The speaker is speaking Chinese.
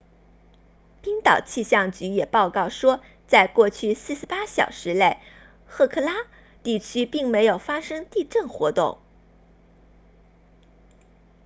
冰岛气象局也报告说在过去48小时内赫克拉 hekla 地区并没有发生地震活动